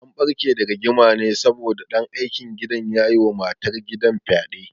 An ɓarke da rigima ne saboda ɗan aikin gidan ya yi wa matar gidan fyaɗe